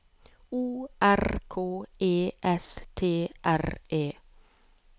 O R K E S T R E